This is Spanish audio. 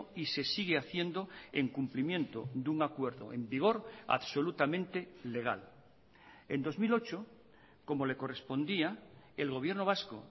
y se sigue haciendo en cumplimiento de un acuerdo en vigor absolutamente legal en dos mil ocho como le correspondía el gobierno vasco